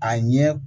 A ɲɛ